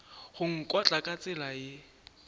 go nkotla ka tsela ye